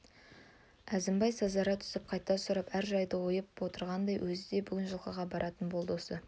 әзімбай сазара түсіп қайта сұрап әр жайды түйіп отырғандай өзі де бүгін жылқыға баратын болды осы